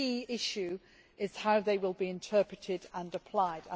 The key issue is how they will be interpreted and applied.